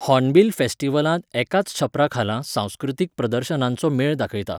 Hornbill फेस्टिवलांत एकाच छप्परा खाला सांस्कृतीक प्रदर्शनांचो मेळ दाखयता.